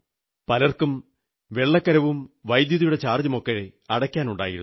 പലരും വെള്ളക്കരവും വൈദ്യുതിയുടെ ചാർജ്ജുമൊക്കെ അടയ്ക്കാനുണ്ടായിരുന്നു